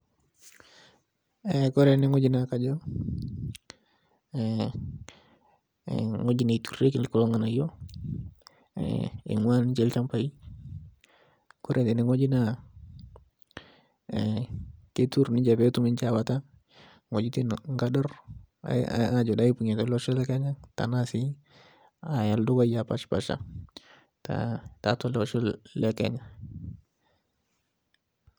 Eh kore eneng'oji naakajo eh eng'oji neiturrurieki kulo ng''anayio eh eing'ua ninche ilchambai kore teneng'oji naa eh keiturrur ninche peetum ninche awaita ng'ojitin nkadorr ae aajo daipung'ie tolosho le kenya tenaa sii aya ildukai apashpasha taa taatua ele osho le kenya.